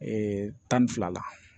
tan ni fila la